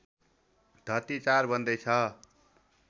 धर्ती ४ बन्दैछ